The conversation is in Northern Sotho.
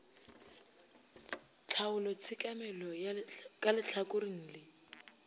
tlhaolo tshekamelo ka lehlakoreng le